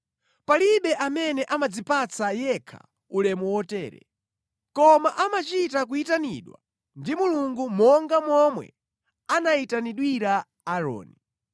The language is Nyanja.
Palibe amene amadzipatsa yekha ulemu wotere, koma amachita kuyitanidwa ndi Mulungu monga momwe anayitanidwira Aaroni.